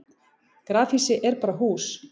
grafhýsi er bara hús